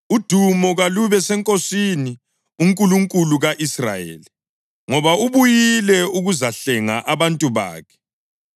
“Udumo kalube seNkosini, uNkulunkulu ka-Israyeli, ngoba ubuyile ukuzahlenga abantu bakhe.